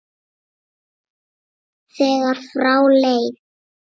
þegar frá leið.